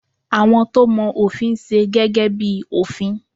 Àwọn to mọ òfin n se gẹ́gẹ́ bi òfin